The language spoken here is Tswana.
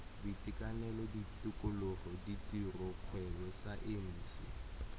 boitekanelo tikologo ditiro kgwebo saense